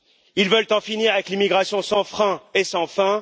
Ils veulent en finir avec l'immigration sans frein et sans fin.